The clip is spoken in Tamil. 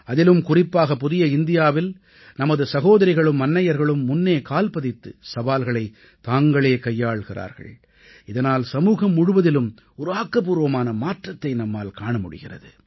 அதிலும் குறிப்பாக புதிய இந்தியாவில் நமது சகோதரிகளும் அன்னையர்களும் முன்னே கால் பதித்து சவால்களைத் தாங்களே கையாள்கிறார்கள் இதனால் சமூகம் முழுவதிலும் ஒரு ஆக்கப்பூர்வமான மாற்றத்தை நம்மால் காண முடிகிறது